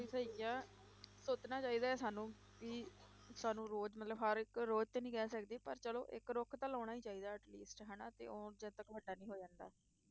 ਸਹੀ ਆ, ਸੋਚਣਾ ਚਾਹੀਦਾ ਹੈ ਸਾਨੂੰ ਵੀ ਸਾਨੂੰ ਰੋਜ਼ ਮਤਲਬ ਹਰ ਇੱਕ ਰੋਜ਼ ਤਾਂ ਨਹੀਂ ਕਹਿ ਸਕਦੇ ਪਰ ਚਲੋ ਇੱਕ ਰੁੱਖ ਤਾਂ ਲਾਉਣਾ ਹੀ ਚਾਹੀਦਾ atleast ਹਨਾ ਤੇ ਉਹ ਜਦ ਤੱਕ ਵੱਡਾ ਨਹੀਂ ਹੋ ਜਾਂਦਾ।